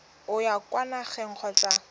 o ya kwa nageng kgotsa